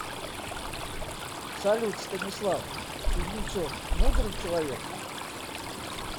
салют станислав кузнецов мудрый человек